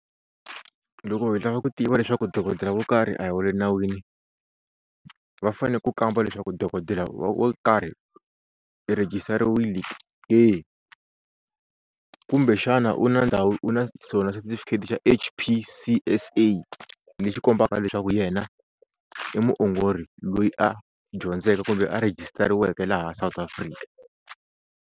Loko hi lava ku tiva leswaku dokodela wo karhi a hi wa le nawini va fane ku kamba leswaku dokodela wo karhi i register-iwini ke, kumbexana u na ndhawu u na xona setifikheti xa H_P_C_S_A lexi kombaka leswaku yena i muongori loyi a dyondzeke kumbe a register-iweke ka laha South Afrika.